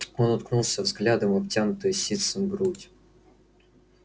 он уткнулся взглядом в обтянутую ситцем грудь